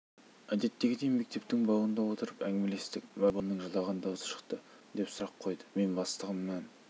әдеттегідей мектептің бауында отырып әңгімелестік бір уақытта баламның жылаған дауысы шықты деп сұрақ қойды мен бастығымнан